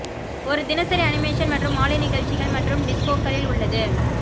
ஒரு தினசரி அனிமேஷன் மற்றும் மாலை நிகழ்ச்சிகள் மற்றும் டிஸ்கோக்களில் உள்ளது